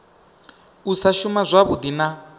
u sa shuma zwavhui na